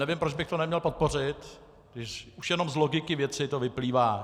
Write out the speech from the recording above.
Nevím, proč bych to neměl podpořit, když už jenom z logiky věci to vyplývá.